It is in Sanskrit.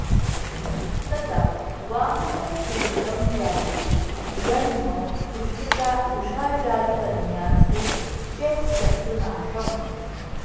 तदा वाहने पीडितं जातु जन्म वृषाजालिकन्यासु चेत् शत्रुनाशम्